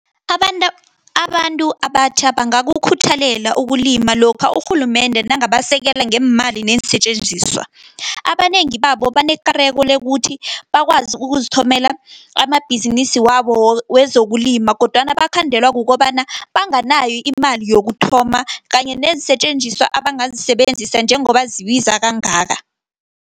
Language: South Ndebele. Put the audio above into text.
Abantu abatjha bangakukhuthalela ukulima, lokha urhulumende nangabasekela ngeemali neensetjenziswa. Abanengi babo banekareko lokuthi, bakwazi ukuzithomela amabhizinisi wabo, wezokulima, kodwana bakhandelwa kukobana banganayo imali yokuthoma, kanye neensetjenziswa abangazisebenzisa njengoba zibiza kangaka.